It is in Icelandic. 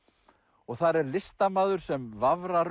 og þar er listamaður sem